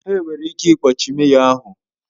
Enwere ike ikpọchi meyọ, ahụ